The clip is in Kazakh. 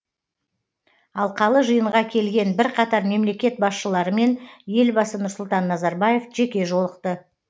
алқалы жиынға келген бірқатар мемлекет басшыларымен елбасы нұрсұлтан назарбаев жеке жолықты